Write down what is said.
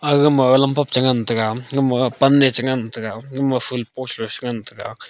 aga ma lamphak chan ngan taga gama pan am chan ngan taga full port chang ngan taga.